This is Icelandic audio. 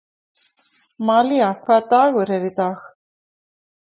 Malía, hvaða dagur er í dag?